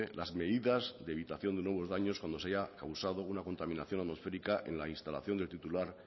las medidas de evitación de nuevos daños cuando se haya causado una contaminación atmosférica en la instalación del titular